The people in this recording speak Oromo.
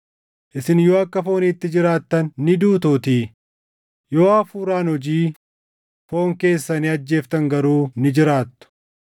Isin yoo akka fooniitti jiraattan ni duutuutii; yoo Hafuuraan hojii foon keessanii ajjeeftan garuu ni jiraattu.